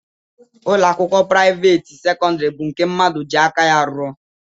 Ụlọakwụkwọ priavaate sekondari bụ nke mmadụ ji aka ya rụọ.